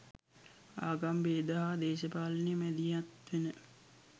ආගම් බේද හා දේශපාලනය මැදිහත් වෙන